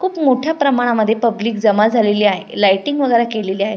खुप मोठ्या प्रमाणामधे पब्लिक जमा झालेली आहे लाईटींग वगेरा केलेली आहे.